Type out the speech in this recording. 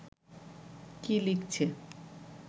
কী লিখছে